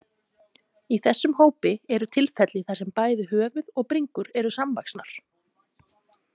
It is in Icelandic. Í þessum hópi eru tilfelli þar sem bæði höfuð og bringur eru samvaxnar.